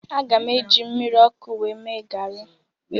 Aga m eji mmiri ọkụ mee garị